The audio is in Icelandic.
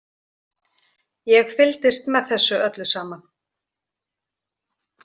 Ég fylgdist með þessu öllu saman.